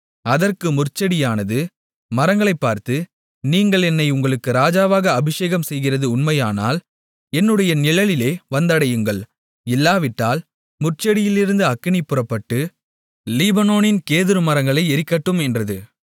அதற்கு முட்செடியானது மரங்களைப் பார்த்து நீங்கள் என்னை உங்களுக்கு ராஜாவாக அபிஷேகம் செய்கிறது உண்மையானால் என்னுடைய நிழலிலே வந்தடையுங்கள் இல்லாவிட்டால் முட்செடியிலிருந்து அக்கினி புறப்பட்டு லீபனோனின் கேதுரு மரங்களை எரிக்கட்டும் என்றது